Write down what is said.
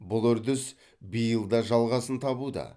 бұл үрдіс биыл да жалғасын табуда